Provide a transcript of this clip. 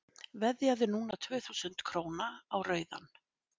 veðjaðu núna tvö þúsund króna á rauðan